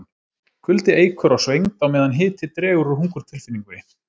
Kuldi eykur á svengd á meðan hiti dregur úr hungurtilfinningunni.